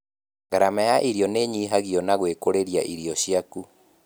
Gharama ya irio nĩnyihagio na gwĩkũrĩria irio ciaku